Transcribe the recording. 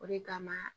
O de kama